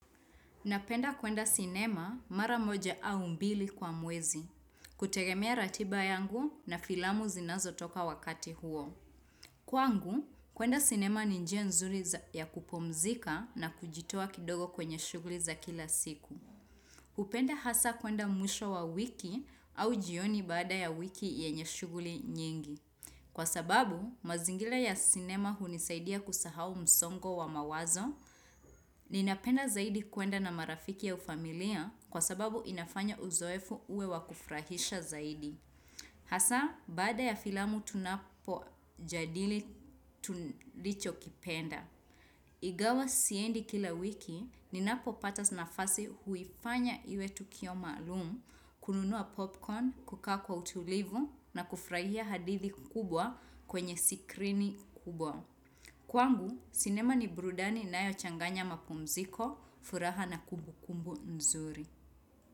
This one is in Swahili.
Napenda kwenda sinema mara moja au mbili kwa mwezi. Kutegemea ratiba yangu na filamu zinazotoka wakati huo. Kwangu, kwenda sinema ni njia nzuri ya kupumzika na kujitoa kidogo kwenye shughuli za kila siku. Hupenda hasa kwenda mwisho wa wiki au jioni baada ya wiki yenye shughuli nyingi. Kwa sababu, mazingila ya sinema hunisaidia kusahau msongo wa mawazo. Ninapenda zaidi kuenda na marafiki au familia kwa sababu inafanya uzoefu uwe wakufurahisha zaidi. Hasa, baada ya filamu tunapojadili tu ndichokipenda. Igawa siendi kila wiki, ninapopata nafasi huifanya iwe tukio maalumu, kununua popcorn, kukaa kwa utulivu na kufurahia hadithi kubwa kwenye sikrini kubwa. Kwangu, sinema ni brudani inayochanganya mapumziko, furaha na kumbukumbu mzuri.